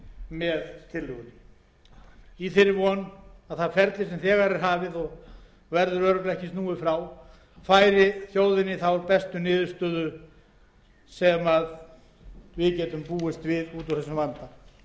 með tillögunni í þeirri von að það ferli sem þegar er hafið og verður örugglega ekki snúið frá færi þjóðinni þá bestu niðurstöðu sem við getum búist við út úr þessum